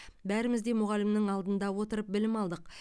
бәріміз де мұғалімнің алдында отырып білім алдық